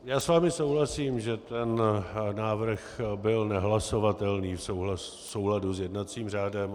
Já s vámi souhlasím, že ten návrh byl nehlasovatelný v souladu s jednacím řádem.